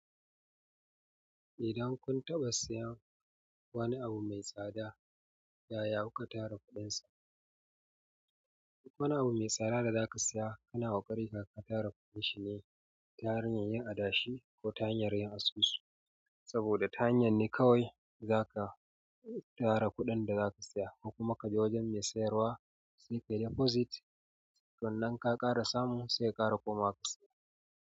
Idan kun taɓa siyan wani abu me tsada, yaya kuka tara kuɗin sa. Wani abu mai tsada da zaka saya, kana haƙuri ka tara kuɗin shi ne ta hanyar yin adashi ko ta hanyar yin asusu. Saboda ta hanyar ne kawai zaka tara kuɗin da zaka saya, ko kuma kaje wajen mai sayarwa sai ka yi deposit. Sannan ka ƙara samu sai ka ƙara komawa ka saya.